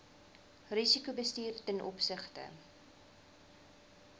risikobestuur ten opsigte